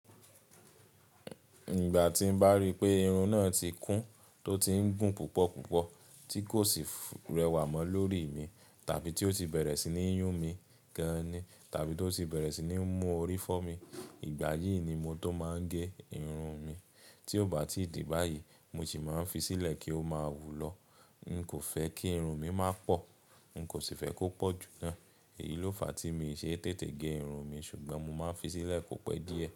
Ìgbà tín bá ríi pé irun náà ti kún, tó tiń gùn púpọ̀ púpọ̀, tí kò sì rẹwà mọ́ lórí mi, tàbí tí ó ti bẹ̀rẹ̀ sí ní yún mi gaan ni, tàbí tó ti bẹ̀rẹ̀ sí ní mú orí fọ́ mi, ìgbà yìí ni mo tó máa ń gé irun mi. Tí ó bá ti dí báyìí, mo sì máa ń fi sílẹ̀ kí ó máa wù lọ. N kò fẹ́ kí irun mi má pọ̀, n kò sì fẹ́ kó pọ̀ jù naa. Èyí ló fa tí mi ṣe tètè gé irun mi, ṣùgbọ́n mo máa ń fi sílẹ̀ kò pẹ́ díẹ̀.